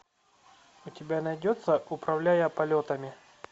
у тебя найдется управляя полетами